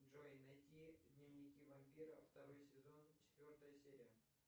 джой найти дневники вампира второй сезон четвертая серия